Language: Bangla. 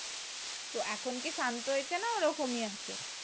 তো এখন কি শান্ত হয়েছে না ও রকমই আছে